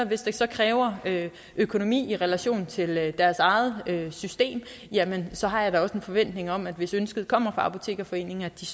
hvis det så kræver økonomi i relation til deres eget system jamen så har jeg da også en forventning om at hvis ønsket kommer fra apotekerforeningen er de